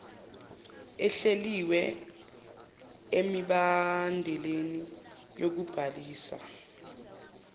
ehlelwe emibandeleni yokubhalisa